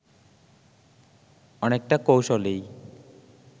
অনেকটা কৌশলেই